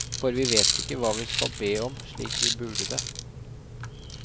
For vi vet ikke hva vi skal be om slik vi burde det.